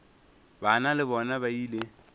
bana le bona ba ile